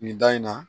Nin da in na